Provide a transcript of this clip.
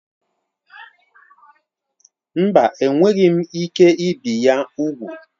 Mba, enweghị m ike ibi ya úgwù.